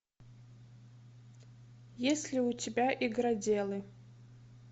есть ли у тебя игроделы